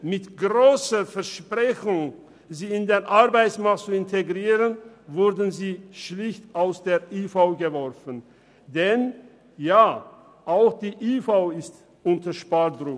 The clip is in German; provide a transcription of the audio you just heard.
Mit der grossen Versprechung, sie in den Arbeitsmarkt zu integrieren, wurden sie schlicht aus der IV geworfen, denn auch die IV ist unter Spardruck.